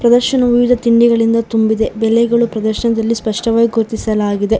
ಪ್ರದರ್ಶನವು ವಿವಿಧ ತಿಂಡಿಗಳಿಂದ ತುಂಬಿದೆ ಬೆಲೆಗಳು ಪ್ರದರ್ಶನದಲ್ಲಿ ಸ್ಪಷ್ಟವಾಗಿ ಗುರುತಿಸಲಾಗಿದೆ.